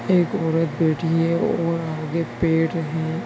एक औरत बैठी है और आगे पेड़ हैं।